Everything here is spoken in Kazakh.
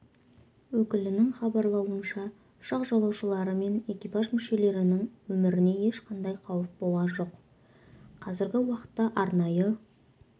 өкілінің хабарлауынша ұшақ жолаушылары мен экипаж мүшелерінің өміріне ешқандай қауіп болған жоқ қазіргі уақытта арнайы